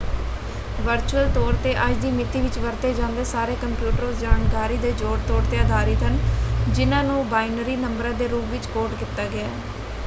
Virtual ਤੌਰ ‘ਤੇ ਅੱਜ ਦੀ ਮਿਤੀ ਵਿੱਚ ਵਰਤੇ ਜਾਂਦੇ ਸਾਰੇ ਕੰਪਿਊਟਰ ਉਸ ਜਾਣਕਾਰੀ ਦੇ ਜੋੜ-ਤੋੜ ‘ਤੇ ਆਧਾਰਿਤ ਹਨ ਜਿਨ੍ਹਾਂ ਨੂੰ ਬਾਇਨਰੀ ਨੰਬਰਾਂ ਦੇ ਰੂਪ ਵਿੱਚ ਕੋਡ ਕੀਤਾ ਗਿਆ ਹੈ।